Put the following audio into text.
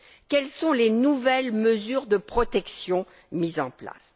Quelles sont les nouvelles mesures de protection mises en place?